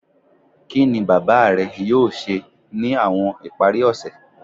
Kini baba rẹ yoo ṣe ni awọn ipari ose?